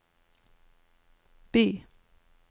by